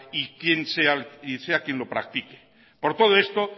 y sea quien sea quien lo practique por todo esto